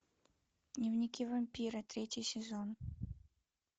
дневники вампира третий сезон